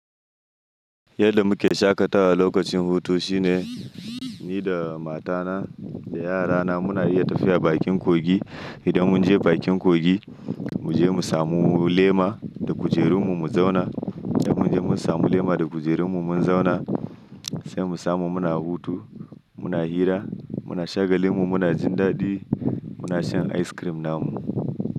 Yadda muke shaƙatawa lokacin hutu shine ni da matana da yarana muna iya tafiya bakin kogi. Idan mun je bakin kogi, mu je mu samu lema da kujerunmu mu zauna. Idan mun je mun samu lema da kujerunmu mun zauna, sai mu samu muna hutu, muna hira, muna shagalin mu, muna jin daɗi, muna shan ice cream namu.